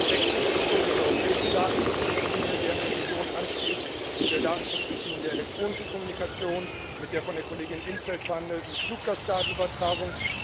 Wir haben Wechselwirkungen mit der europäischen Datenschutzrichtlinie, deren Revision ansteht, mit der Datenschutzrichtlinie zur elektronischen Kommunikation, mit der von der Kollegin in 't Veld verhandelten Fluggastdatenübertragung.